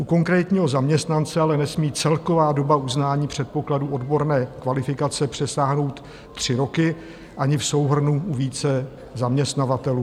U konkrétního zaměstnance ale nesmí celková doba uznání předpokladů odborné kvalifikace přesáhnout tři roky ani v souhrnu u více zaměstnavatelů.